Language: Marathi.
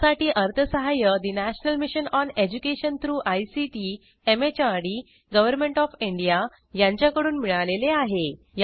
यासाठी अर्थसहाय्य national mission on education through ICT MHRD government of India यांच्याकडून मिळालेले आहे